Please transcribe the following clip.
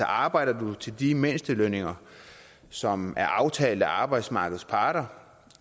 arbejder du til de mindstelønninger som er aftalt af arbejdsmarkedets parter